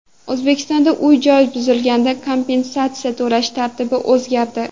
O‘zbekistonda uy-joy buzilganda kompensatsiya to‘lash tartibi o‘zgardi.